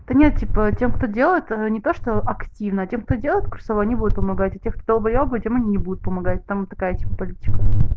да нет типа тем кто делает не то что активно а тем кто делает курсовой они будут помогать а тех кто долбоёбы тем они будут помогать там такая типо политика